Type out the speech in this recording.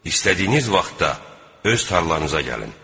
İstədiyiniz vaxtda öz tarlanıza gəlin.